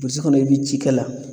Burusi kɔnɔ i bɛ ci kɛ la